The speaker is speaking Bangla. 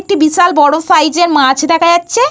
একটি বিশাল বড় সাইজের মাছ দেখা যাচ্ছে।